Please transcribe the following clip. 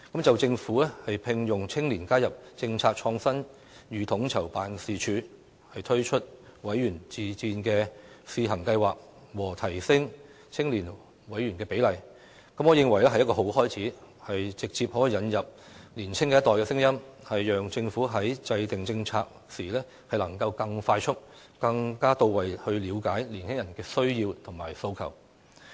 就政府聘用青年加入"政策創新與統籌辦事處"、推出"委員自薦試行計劃"及提升青年委員比例的建議，我認為是好的開始，可直接引入年青一代的聲音，讓政府在制訂政策時能夠更快速、更到位地了解年輕人的需要和訴求。